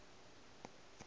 a na ga go na